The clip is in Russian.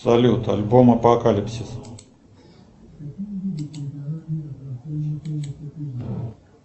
салют альбом апокалипсис